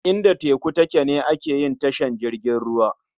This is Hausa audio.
Inda teku take ne ake yin tashar jiragen ruwa.